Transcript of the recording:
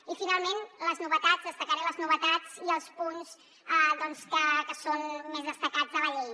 i finalment les novetats destacaré les novetats i els punts que són més destacats de la llei